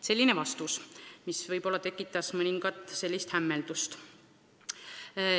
Selline vastus tekitas mõningat hämmeldust.